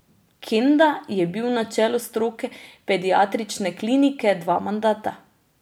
Kenda je bil na čelu stroke pediatrične klinike dva mandata.